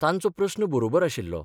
तांचो प्रस्न बरोबर आशिल्लो.